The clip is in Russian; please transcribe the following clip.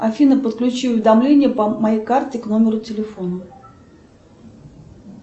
афина подключи уведомления по моей карте к номеру телефона